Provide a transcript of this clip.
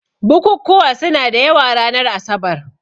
Bukukkuwa suna da yawa ranar asabar.